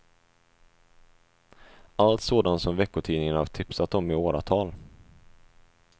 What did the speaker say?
Allt sådant som veckotidningarna tipsat om i åratal.